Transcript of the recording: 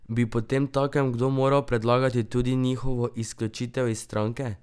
Bi potemtakem kdo moral predlagati tudi njihovo izključitev iz stranke?